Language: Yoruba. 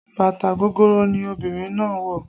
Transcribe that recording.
Bàtà gogoro ni obìnrin náà wọ